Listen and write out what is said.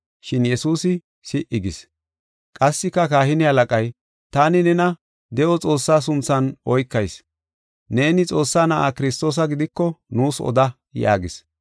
Shin Yesuusi si77i gis. Qassika kahine halaqay, “Taani nena de7o Xoossaa sunthan oykayis; neeni Xoossaa Na7aa Kiristoosa gidiko nuus oda” yaagis.